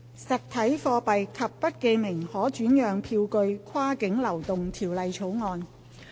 《實體貨幣及不記名可轉讓票據跨境流動條例草案》。